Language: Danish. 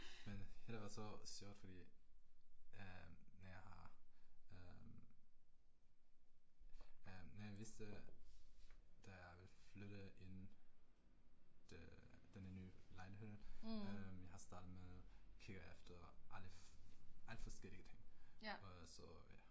Men hele var så sjovt fordi øh, jeg har øh. Jeg vidste da jeg ville flytte ind denne nye lejligheden øh jeg har startet med kigge efter alle alt forskellige ting, og så ja